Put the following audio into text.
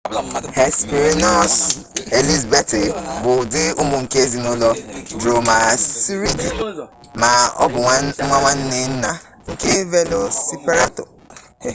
hesperonychus elizabethae bụ ụdị ụmụ nke ezinụlọ dromaeosauridae ma ọ bụ nwa nwanne nna nke velociraptor